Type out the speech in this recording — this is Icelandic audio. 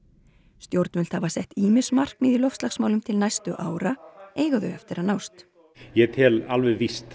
stjórnvöld hafa sett ýmis markmið í loftslagsmálum til næstu ára eiga þau eftir að nást ég tel alveg víst